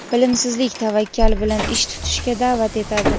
bilimsizlik tavakkal bilan ish tutishga da’vat etadi.